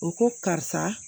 O ko karisa